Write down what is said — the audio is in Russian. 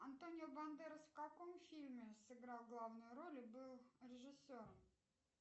антонио бандерос в каком фильме сыграл главную роль и был режиссером